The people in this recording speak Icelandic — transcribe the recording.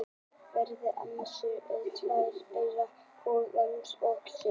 Venjulegt mannsauga inniheldur tvær gerðir ljósnema: Keilur og stafi.